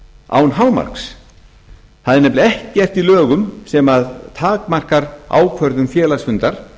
án hámarks það er nefnilega ekkert í lögum sem takmarkar ákvörðun félagsfundar